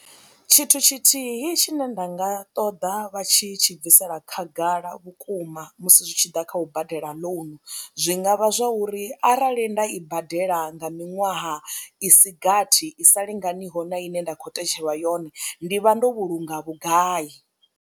Tshithu tshithihi tshine nda nga ṱoḓa vha tshi tshi bvisela khagala vhukuma musi zwi tshi ḓa kha u badela ḽounu zwi nga vha zwa uri arali nda i badela nga miṅwaha i si gathi i sa linganiho na ine nda khou tetshelwa yone ndi vha ndo vhulunga vhugai.